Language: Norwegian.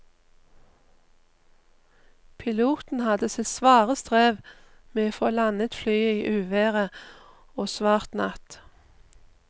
Piloten hadde sitt svare strev med å få landet flyet i uvær og svart natt.